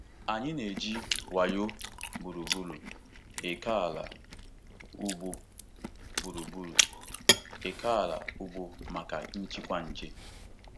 Anyị na-eji wayo gburugburu ókèala ugbo gburugburu ókèala ugbo maka njikwa nje.